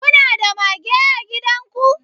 kuna da mage a gidan ku